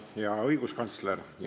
Hea õiguskantsler!